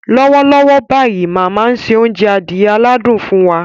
Lọ́wọ́lọ́wọ́ báyìí, màmá ń se oúnjẹ adìẹ aládùn fún wa.